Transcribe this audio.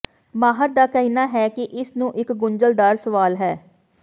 ਮਾਹਰ ਦਾ ਕਹਿਣਾ ਹੈ ਕਿ ਇਸ ਨੂੰ ਇੱਕ ਗੁੰਝਲਦਾਰ ਸਵਾਲ ਹੈ